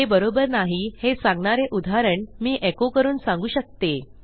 हे बरोबर नाही हे सांगणारे उदाहरण मी एको करून सांगू शकते